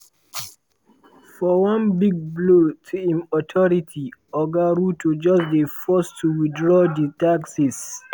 for one big blow to im authority oga ruto just dey forced to withdraw di taxes.